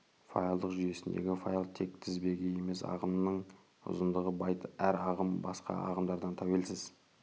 файлдық жүйесіндегі файл тек тізбегі емес ағымның ұзындығы байт әр ағым басқа ағымдардан тәуелсіз